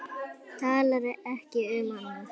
Talar ekki um annað.